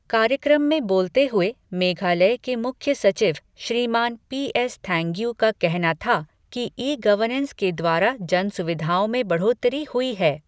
कार्यक्रम में बोलते हुए मेघालय के मुख्य सचिव श्रीमान पीएस थैन्ग्यिू का कहना था कि ई गवर्नेंस के द्वारा जन सुविधाओं में बढ़ोतरी हुई है।